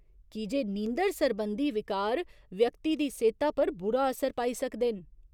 कीजे नींदर सरबंधी विकार व्यक्ति दी सेह्ता पर बुरा असर पाई सकदे न।